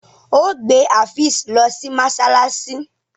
o gbé Afeez ló sí masalasi!